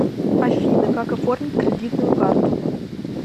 афина как оформить кредитную карту